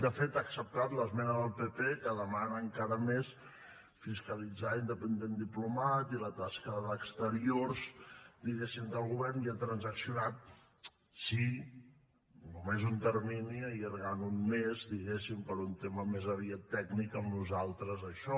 de fet ha acceptat l’esmena del pp que demana encara més fiscalitzar independent diplomat i la tasca d’exteriors diguéssim del govern i ha transaccionat sí només un termini allargant un mes diguéssim per un tema més aviat tècnic amb nosaltres això